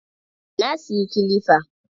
Na siyi kilifa.